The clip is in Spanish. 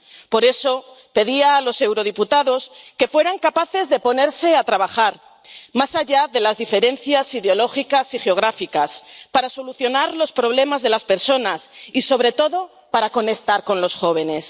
Por eso pedía a los eurodiputados que fueran capaces de ponerse a trabajar, más allá de las diferencias ideológicas y geográficas, para solucionar los problemas de las personas y, sobre todo, para conectar con los jóvenes.